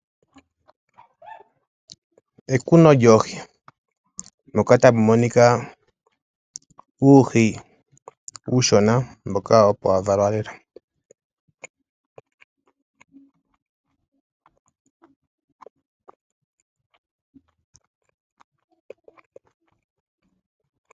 Ekuno lyoohi Moka tamu monika uuhi uushona mboka opo wa valwa lela.